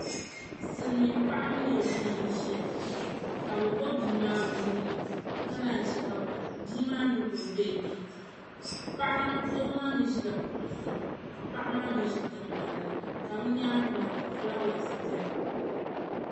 Silimiin' paɣa mini o bia n-ʒiya ka bɛ ɡbubi bia maa o nuu ni ka naanyi che ka bia maa ɡbubi beebii doo maa mi ʒila kuɣu zuɣu ka paɣa maa mi ʒi tiŋɡbani ni ka bɛ nyaaŋa maa kabfulaawɛsi beni